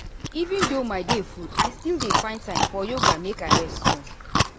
even though my day full i still dey find time for yoga make i rest small.